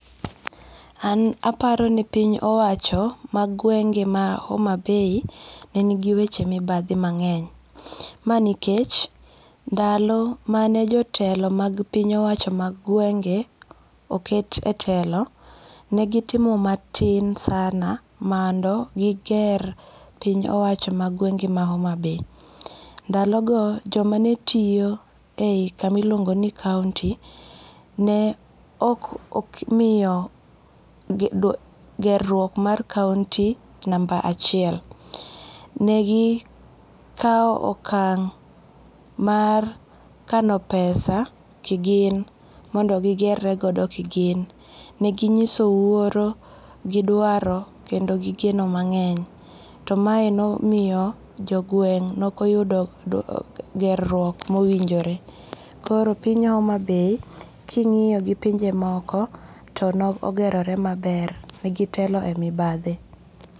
An aparo ni piny owacho ma gwenge' ma Homabay nenigiweche mibathi mange'ny ma nikech dalo mane jotelo mag piny owacho mag gwenge' oket e telo ne gitimo matin sana mondo giger piny owacho mag gwenge' ma Homabay ndalogo jomane tiyo e hi kama iluongo' ni county, ne ok omiyo geruok mar county number achiel negi kawo okang' mar kano pesa kigin mondo gigere godo kigin, neginyiso wuoro gi dwaro mondo kendo gi geno mange'ny to mae ne omiyo jo gweng' ne okoyudo geruok mowinjore, koro piny Homabay ki ingi'yo gi pinje moko to no ne ogerore maber negiteloe e mibathi